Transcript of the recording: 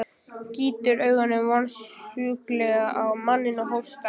Gýtur augunum vonskulega á manninn og hóstar.